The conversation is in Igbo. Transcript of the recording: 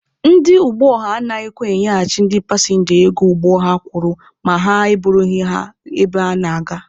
Ndị ụgbọ ọha anaghịkwa enyeghachi ndị pasịnja ego ụgbọ ha kwụrụ ma ha e burughị ha ebe ha na-aga.